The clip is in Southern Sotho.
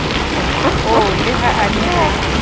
oo le ha a ne